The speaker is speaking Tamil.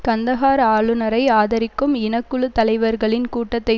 கந்தஹார் ஆளுனரை ஆதரிக்கும் இனக்குழு தலைவர்களின் கூட்டத்தை